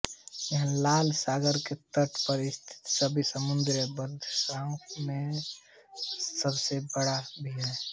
यह लाल सागर के तट पर स्थित सभी समुद्री बंदरगाहों मे सबसे बड़ा भी है